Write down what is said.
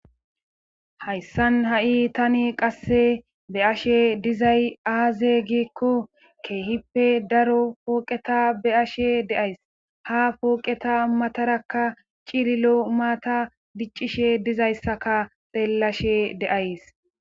Hayssan ha7i tani qasse be ashe dizay aaze giekko keehippe daro pooqeta be ashe deays ha pooqeta matarakka cililo maata diccishe dizayssaka xeellashe de'ays.